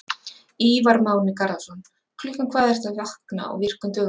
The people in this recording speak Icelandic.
Ívar Máni Garðarsson Klukkan hvað ertu að vakna á virkum dögum?